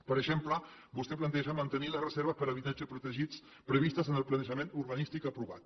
per exemple vostè planteja mantenir les reserves per a habitatge protegit previstes en el planejament urbanístic aprovat